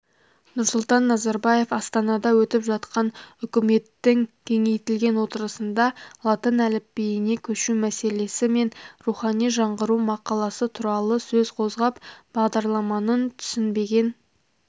нұрсұлтан назарбаев астанада өтіп жатқан үкіметтің кеңейтілген отырысында латын әліпбиіне көшу мәселесі мен рухани жаңғыру мақаласы туралы сөз қозғап бағдарламанын түсінбеген